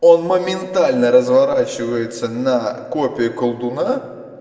он моментально разворачивается на копии колдуна